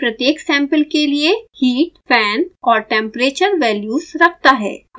यह प्रत्येक सैंपल के लिए heat fan और temperature वैल्यूज़ रखता है